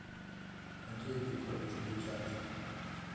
матвей петрович бутянин